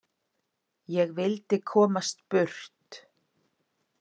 Ég vildi komast burt.